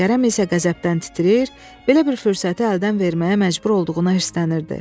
Kərəm isə qəzəbdən titrəyir, belə bir fürsəti əldən verməyə məcbur olduğuna hirslənirdi.